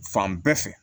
Fan bɛɛ fɛ